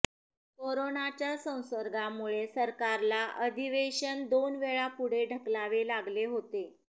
कोरोनाच्या संसर्गामुळे सरकारला अधिवेशन दोन वेळा पुढे ढकलावे लागले होते